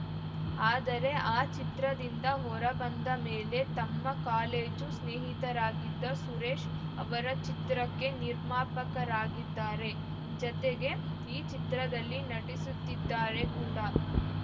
ಆದರೆ ಆ ಚಿತ್ರದಿಂದ ಹೊರ ಬಂದ ಮೇಲೆ ತಮ್ಮ ಕಾಲೇಜು ಸ್ನೇಹಿತರಾಗಿದ್ದ ಸುರೇಶ್‌ ಅವರ ಚಿತ್ರಕ್ಕೆ ನಿರ್ಮಾಪಕರಾಗಿದ್ದಾರೆ ಜತೆಗೆ ಈ ಚಿತ್ರದಲ್ಲಿ ನಟಿಸುತ್ತಿದ್ದಾರೆ ಕೂಡ